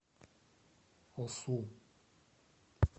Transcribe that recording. осу